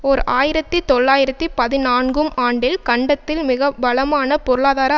ஓர் ஆயிரத்தி தொள்ளாயிரத்தி பதினான்கும் ஆண்டில் கண்டத்தில் மிக பலமான பொருளாதார